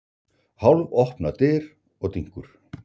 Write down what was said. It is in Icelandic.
Hálfopnar dyr og dynkur.